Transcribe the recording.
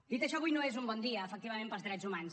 dit això avui no és un bon dia efectivament pels drets humans